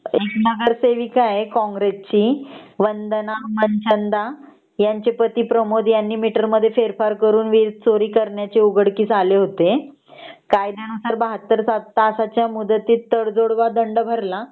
नगरसेविका आहे काँग्रेस ची वंदना मनचंदा ह्यांचे पती प्रमोद ह्यांनी मीटर मध्ये फेरफार करून वीज चोरी करण्याचे उघडकीस आले होते . कायद्यानुसार ७२तासात तडजोड किंवा दंड भरला